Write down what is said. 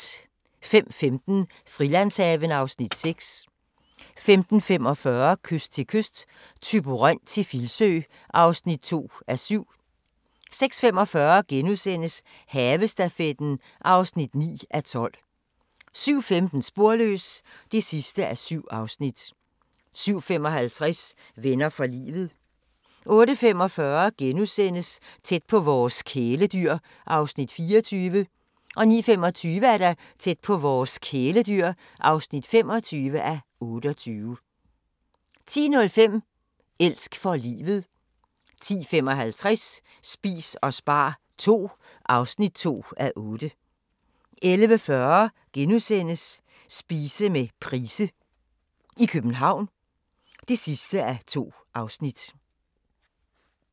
05:15: Frilandshaven (Afs. 6) 05:45: Kyst til kyst – Thyborøn til Filsø (2:7) 06:45: Havestafetten (9:12)* 07:15: Sporløs (7:7) 07:55: Venner for livet 08:45: Tæt på vores kæledyr (24:28)* 09:25: Tæt på vores kæledyr (25:28) 10:05: Elsk for livet 10:55: Spis og spar II (2:8) 11:40: Spise med Price i København (2:2)*